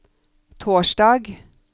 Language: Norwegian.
torsdag